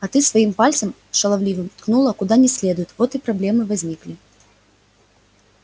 а ты своим пальцем шаловливым ткнула куда не следует вот и проблемы и возникли